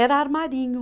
Era armarinho.